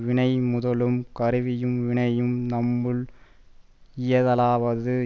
வினை முதலும் கருவியும் வினையும் தம்முள் இயைதலாவது